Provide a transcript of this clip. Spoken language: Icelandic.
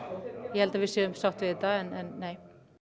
ég held að við séum sátt við þetta en nei